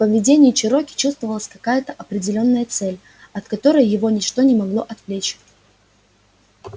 в поведении чероки чувствовалась какая то определённая цель от которой его ничто не могло отвлечь